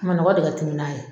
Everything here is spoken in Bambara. Manɔgɔ de ka timi n'a ye.